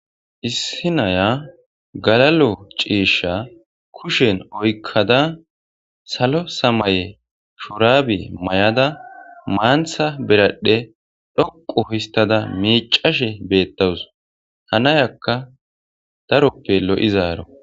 Issi naya galalo ciisha kushen oykkada salo samaye shoraabe may'ada maantha beradhe dhoqo histada miicashe beettawus hanayakka daroppe lo'izaaro